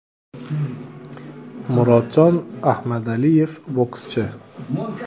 Murodjon Ahmadaliyev, bokschi !